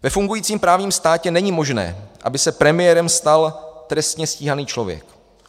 Ve fungujícím právním státě není možné, aby se premiérem stal trestně stíhaný člověk.